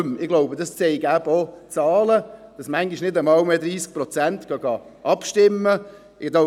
Ich glaube, die Zahlen zeigen eben auch auf, dass manchmal nicht einmal mehr 30 Prozent abstimmen gehen.